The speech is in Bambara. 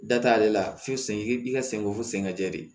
Da t'ale la fo sen ka sen ko fɔ sen ka jɛ de